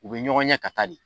U be ɲɔgɔn ɲɛ ka taa de.